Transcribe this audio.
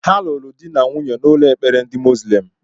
Ha lụrụ dị na nwunye n'ụlọ ekpere ndị moslem